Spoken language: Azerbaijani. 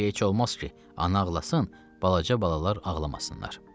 Çünki heç olmaz ki, ana ağlasın, balaca balalar ağlamasınlar.